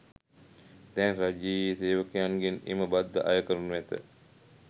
දැන් රජයේ සේවකයන්ගෙන් එම බද්ද අය කරනු ඇත.